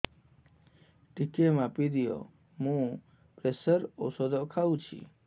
ଟିକେ ମାପିଦିଅ ମୁଁ ପ୍ରେସର ଔଷଧ ଖାଉଚି